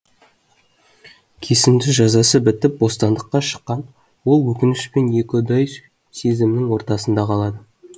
кесімді жазасы бітіп бостандыққа шыққан ол өкініш пен екіұдай сезімнің ортасында қалады